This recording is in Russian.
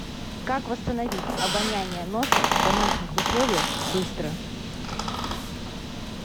как восстановить обоняние носа в домашних условиях быстро